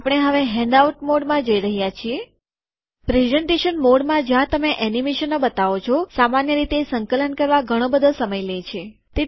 આપણે હવે હેન્ડઆઉટ મોડમાં જઈ રહ્યા છીએ પ્રેઝેન્ટેશન મોડમાં જ્યાં તમે એનિમેશનો બતાવો છો સામાન્ય રીતે સંકલન કરવા ઘણો બધો સમય લે છે